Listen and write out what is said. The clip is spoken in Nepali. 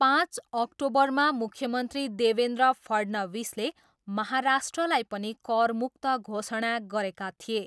पाँच अक्टोबरमा मुख्यमन्त्री देवेन्द्र फडणविसले महाराष्ट्रलाई पनि करमुक्त घोषणा गरेका थिए।